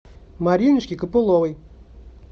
мариночке копыловой